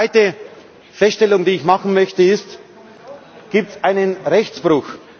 Die zweite Feststellung, die ich machen möchte, ist Gibt es einen Rechtsbruch?